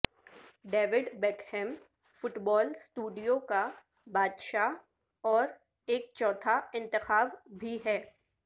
David Beckham football studio کا بادشاہ اور ایک چوتھا انتخاب بھی ہے